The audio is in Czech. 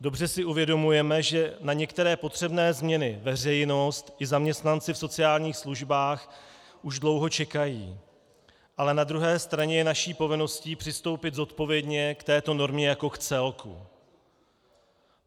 Dobře si uvědomujeme, že na některé potřebné změny veřejnost i zaměstnanci v sociálních službách už dlouho čekají, ale na druhé straně je naší povinností přistoupit zodpovědně k této normě jako k celku.